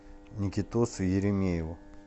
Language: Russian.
никитосу еремееву